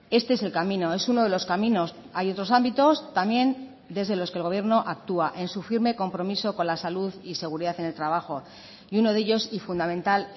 este es el camino es uno de los caminos hay otros ámbitos también desde los que el gobierno actúa en su firme compromiso con la salud y seguridad en el trabajo y uno de ellos y fundamental